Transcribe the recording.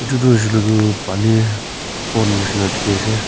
edu tu hoishey koilae tu pani bon nishina dikhiase.